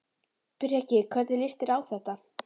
Breki: Hvernig líst þér á þetta?